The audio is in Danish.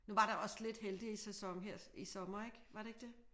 Nu var der også lidt heldig sæson her i sommer ik? Var det ikke det?